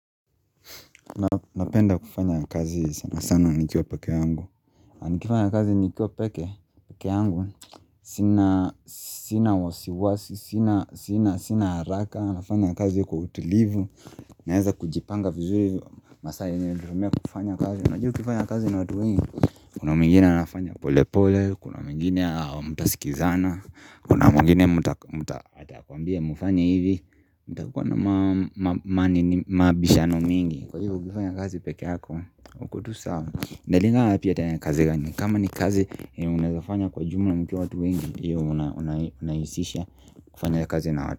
Napenda kufanya kazi sana sana nikiwa peke yangu Nikifanya kazi nikiwa peke yangu Sina wasiwasi Sina haraka nafanya kazi kwa utulivu Naeza kujipanga vizuri masaa yenye natumia kufanya kazi, unaju kufanya kazi na watu wengi Kuna mwingine anafanya pole pole Kuna mwingine hamtasikizana Kuna mwingine mta mwambie mufanye hivi mtakuwa na mabishano mingi Kwa hivyo kufanya kazi peke yako ikotu sawa iNalingana pia tanya kazi gani kama ni kazi yenye unawezafanya kwa jumla mkiwa watu wengi hiyo unayisisha kufanya kazi na watu.